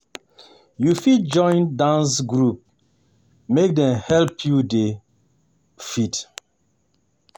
You fit join dance um group um make dem help you dey um fit.